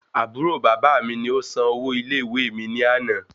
Àbúrò baba mi ni o san owó ilé ìwé mi ni àná